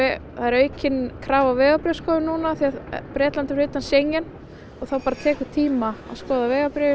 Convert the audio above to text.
aukin krafa á vegabréfsskoðun núna því Bretland er fyrir utan Schengen og þá tekur tíma að skoða vegabréfin